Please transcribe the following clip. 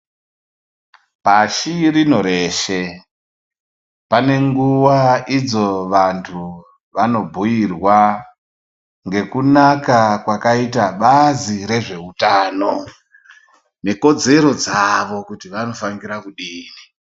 Pashi rino reshe pane nguwa idzo vantu vanobhuirwa ngekunaka kwakaita bazi rezveutano nekodzero dzavo kuti vanofanira kudini.